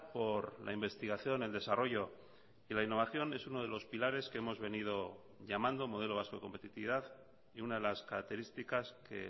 por la investigación el desarrollo y la innovación es uno de los pilares que hemos venido llamando modelo vasco de competitividad y una de las características que